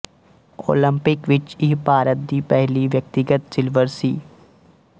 Olympic ਵਿੱਚ ਇਹ ਭਾਰਤ ਦੀ ਪਹਿਲੀ ਵਿਅਕਤੀਗਤ ਸਿਲਵਰ ਸੀ